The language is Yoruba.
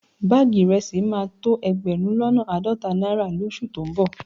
Báàgì ìrẹsì máa tó ẹgbẹ̀rún lọ́nà àádọ́ta náírà lóṣù tó ń bọ̀